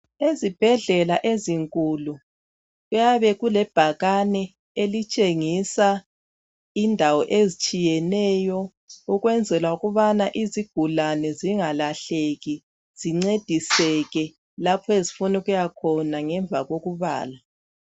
Ezibhedlela ezinkulu kuyabe kulebhakane elitshengisa indawo ezitshiyeneyo ukwenzela ukubana izigulane zingalahleki zincediseke lapho ezifuna ukuyakhona ngemva kokubala